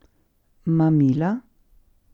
Mamila?